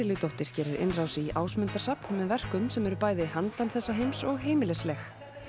Sesseljudóttir gerir innrás í Ásmundarsafn með verkum sem eru bæði handan þessa heims og heimilisleg